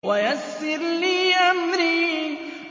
وَيَسِّرْ لِي أَمْرِي